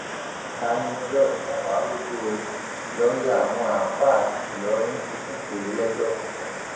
taníọlọrun mà wàá rògo o lọọyà àwọn àáfàá ìlọrin ti tún pè é lẹjọ tuntun